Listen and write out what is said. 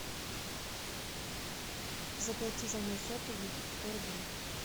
заплати за мой сотовый сто рублей